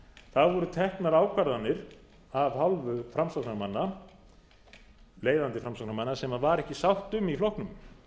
það voru teknar ákvarðanir af hálfu framsóknarmanna leiðandi framsóknarmanna sem var ekki sátt um í flokknum